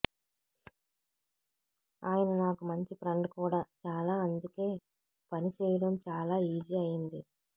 ఆయన నాకు మంచి ఫ్రెండ్ కూడా చాలా అందుకే పని చెయ్యడం చాలా ఈజీ అయింది